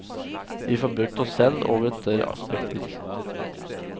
Vi får brukt oss selv over et større spekter.